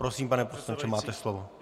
Prosím, pane poslanče, máte slovo.